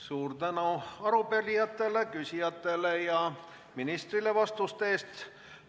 Suur tänu arupärijatele ja küsijatele ning ministrile vastuste eest!